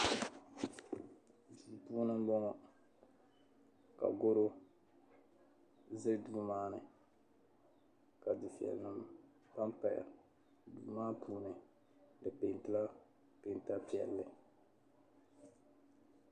Duu puuni m-bɔŋɔ ka gɔro za duu maa ni ka dufiɛya pampaya. Duu maa puuni di peentila peenta piɛlli.